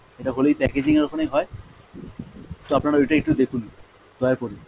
এটা হলে ওই packaging এর ওখানেই হয়, তো আপনারা ওটাই একটু দেখুন, দয়া করে।